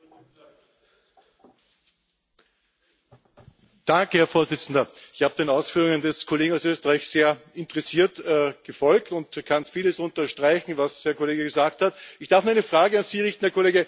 Ich bin den Ausführungen des Kollegen aus Österreich sehr interessiert gefolgt und kann vieles unterstreichen, was der Kollege gesagt hat. Ich darf nur eine Frage an Sie richten, Herr Kollege Kennen Sie die Stellungnahme des Landes Oberösterreich zum Vorschlag?